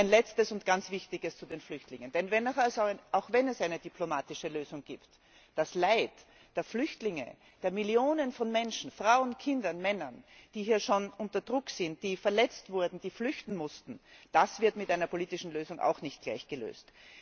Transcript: Ein Letztes und ganz Wichtiges zu den Flüchtlingen auch wenn es eine diplomatische Lösung gibt, das Leid der Flüchtlinge, der Millionen von Menschen Frauen, Kinder und Männer, die bereits unter Druck sind, die verletzt wurden, die flüchten mussten das wird mit einer politischen Lösung auch nicht gleich gelöst.